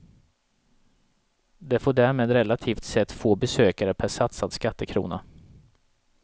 Det får därmed relativt sett få besökare per satsad skattekrona.